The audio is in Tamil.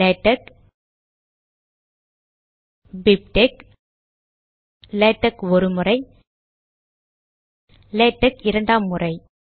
லேடக் பிப்டெக்ஸ் லேடக் ஒரு முறை லேடக் இரண்டாம் முறை